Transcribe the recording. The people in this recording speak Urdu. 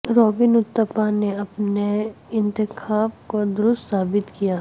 رابن اتھپا نے اپنے انتخاب کو درست ثابت کیا